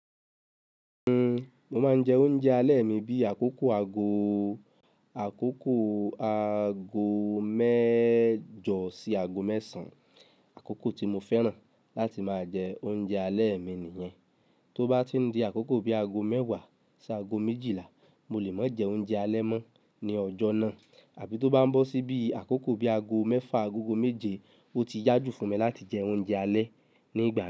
Uhm, mo máa ń jẹ oúnjẹ alẹ́ mi bí àkókò ago, àkókò ago mẹ́jọ sí ago mẹ́sàn-án. Àkókò tí mo fẹ́ràn láti máa jẹ oúnjẹ alẹ́ mi nìyẹn. Tó bá ti n di àkókò bí ago mẹ́wàá sí ago méjìlá, mo lè má jẹ oúnjẹ alẹ́ mọ́ ní ọjọ́ náà àbí tó bá ń bọ̀ síbi àkókò bí ago mẹ́fà agogo méje, ó ti yá jù fún mi láti jẹ oúnjẹ alẹ́ ní gbogbo.